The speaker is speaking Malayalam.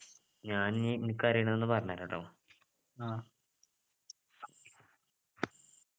ഞാൻ ഇനി എനിക്കറിയുന്നത് ഒന്ന് പറഞ്ഞുതരാട്ടോ